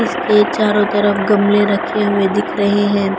इसके चारों तरफ गमले रखे हुए दिख रहे हैं।